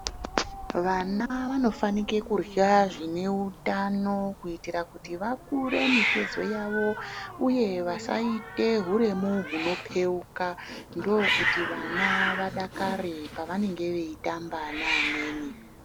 Vana vanofanike kurya zvine utano kuitira kuti vakure mitezo yavovo uye kuti vasaita uremu hunopeuka ndokuti vana vadakare pavanenge veitamba neamweni.